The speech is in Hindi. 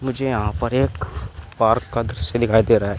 मुझे यहां पर एक पार्क का दृश्य दिखाई दे रहा है।